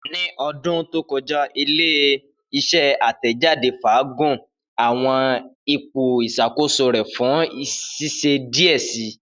Ni ọdun to kọja, ile-iṣẹ atẹjade faagun awọn ipo iṣakoso rẹ fun ṣiṣe diẹ sii.